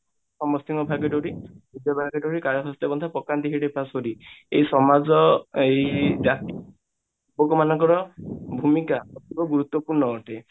ସମସ୍ତିଙ୍କ ପାଶୋରୀ ଏଇ ସମାଜ ଏଇ ଯା ଲୋକ ମାନଙ୍କର ଭୂମିକା ଏଥିରେ ଗୁରୁତ୍ବପୂର୍ଣ ଅଟେ